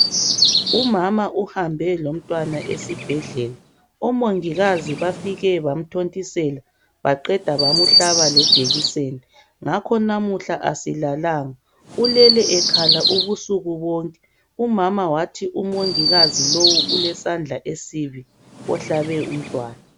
Umama uhambe lomntwana esibhedlela. Omongikazi bafike bamthontisela baqeda bamhlaba lejekiseni ngakho lamuhla asilalanga, ulele ekhala ubusuku bonke umama wathi umongikazi lo ulesandla esibi ohlabe umntwana.